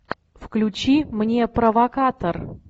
включи мне провокатор